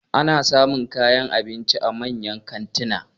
Ana samun kayan abinci a manyan kantuna.